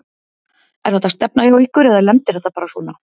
Er þetta stefna hjá ykkur eða lendir þetta bara svona?